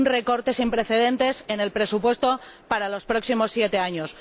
Un recorte sin precedentes en el presupuesto para los próximos siete años.